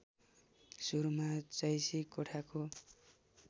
सुरुमा जैशी कोठाको